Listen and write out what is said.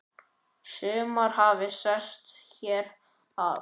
Sumir hafi sest hér að.